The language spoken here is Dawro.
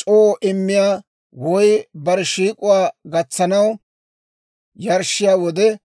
c'oo immiyaa woy bare shiik'k'owaa gatsanaw yarshshiyaa wode,